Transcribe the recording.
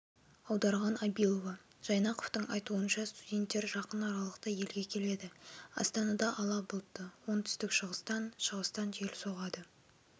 аударған абилова жайнақовтың айтуынша студенттер жақын аралықта елге келеді астанада ала бұлтты оңтүстік-шығыстан шығыстан жел соғады